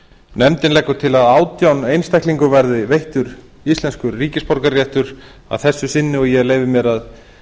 nefndin leggur til að átján einstaklingum verði veittur íslenskur ríkisborgararéttur að þessu sinni og ég leyfi mér að